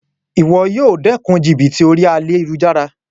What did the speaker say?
Wo yíì o dékun jìbìtì orí ayélujára